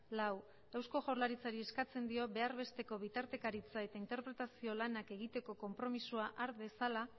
lau eusko jaurlaritzari eskatzen dio behar besteko bitartekaritza eta interpretazio lanak egiteko konpromisoa har dezala